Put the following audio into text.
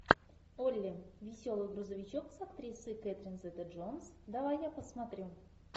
олли веселый грузовичок с актрисой кэтрин зета джонс давай я посмотрю